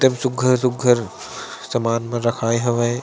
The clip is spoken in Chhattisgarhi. एकदम सुघ्घर-सुघ्घर सामान मन रखाय हवय।